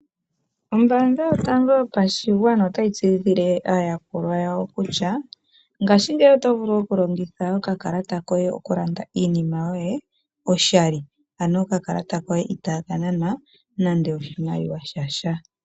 Ombaanga Yotango Yopashigwana otayi tseyithile aayakulwa yawo kutya ngashingeyi oto vulu okulongitha okakalata koye okulanda iinima yoye oshali, ano okakalata koye itaa ka nanwa nando oshimaliwa sha sha.